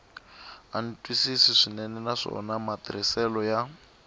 antswisiwa swinene naswona matirhiselo ya